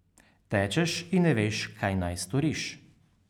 Tečeš in ne veš, kaj naj storiš.